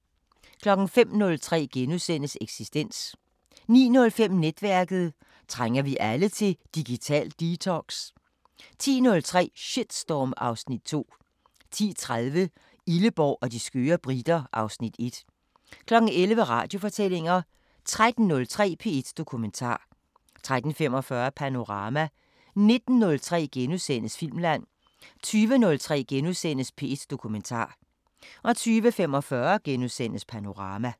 05:03: Eksistens * 09:05: Netværket: Trænger vi alle til digital detox? 10:03: Shitstorm (Afs. 2) 10:30: Illeborg og de skøre briter (Afs. 1) 11:00: Radiofortællinger 13:03: P1 Dokumentar 13:45: Panorama 19:03: Filmland * 20:03: P1 Dokumentar * 20:45: Panorama *